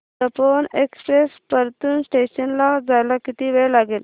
Tapovan express Partur station ला यायला किती वेळ लागेल